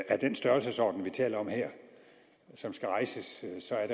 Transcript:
af den størrelsesorden vi taler om her som skal rejses så er